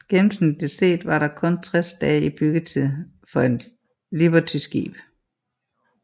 Gennemsnitligt set var der kun 60 dage i byggetid for et libertyskib